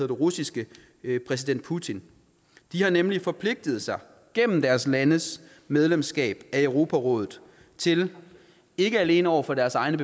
russiske præsident putin de har nemlig forpligtet sig gennem deres landes medlemskab af europarådet til ikke alene over for deres egen